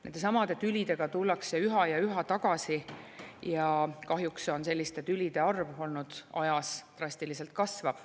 Nendesamade tülidega tullakse üha ja üha tagasi ja kahjuks on selliste tülide arv olnud ajas drastiliselt kasvav.